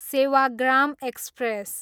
Sevagram express